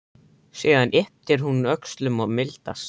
Síðan ypptir hún öxlum og mildast.